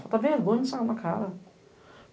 Falta vergonha na cara.